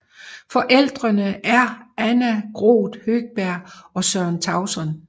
Forældrene er Anna Groth Høgberg og Søren Tauson